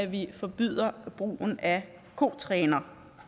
vi forbyder brugen af kotrænere